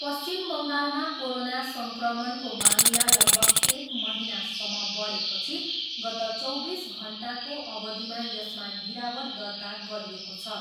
पश्चिम बङ्गालमा कोरोना सङ्क्रमणको मामिला लगभग एक महिनासम्म बढेपछि गत चौबिस घन्टाको अवधिमा यसमा गिरावट दर्ता गरिएको छ।